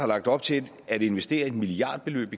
lagt op til at investere et milliardbeløb